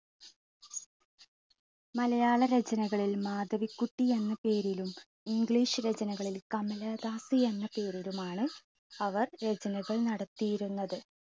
മലയാള രചനകളിൽ മാധവികുട്ടി എന്ന പേരിലും english രചനകളിൽ കമല ദാസി എന്ന പേരിലുമാണ് അവർ രചനകൾ നടത്തിയിരുന്നത്.